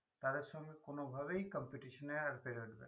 তাদের সঙ্গে কোনভাবেই competition এ আর পেরে উঠবে না